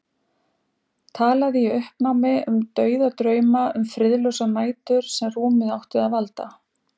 Talaði í uppnámi um dauðadrauma, um friðlausar nætur sem rúmið átti að valda.